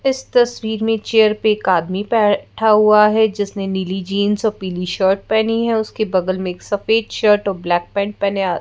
इस तस्वीर में चेयर पे एक आदमी बैठा हुआ है जिसने नीली जींस अ पीली शर्ट पहनी है उसके बगल में एक सफेद शर्ट और ब्लैक पैंट पहने आ--